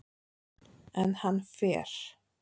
En hann fer.